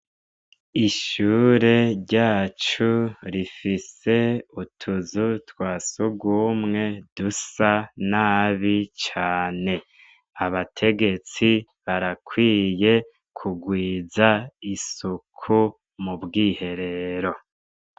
Ishure ryacu rifise utuzu twasugumwe dusa nabi cane, abategetsi barakwiye kugwiza isuku mu bwiherero.